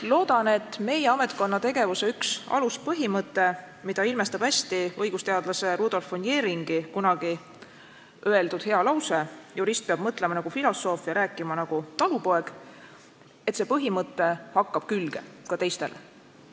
Loodan, et meie ametkonna tegevuse üks aluspõhimõte, mida ilmestab hästi õigusteadlase Rudolf von Jheringi kunagi öeldud hea lause "Jurist peab mõtlema nagu filosoof ja rääkima nagu talupoeg." hakkab külge ka teistele.